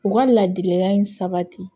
U ka ladilikan in sabati